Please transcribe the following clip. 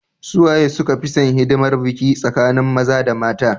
suwaye suka fi San hidimar biki tsakanin maza da mata